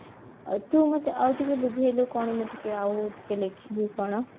ତୁ ମତେ ଆଉ ଟିକେ ବୁଝେଇଲୁ କଣ ମୁ ଟିକେ ଆଉ ଟିକେ ଲେଖିବୀ କଣ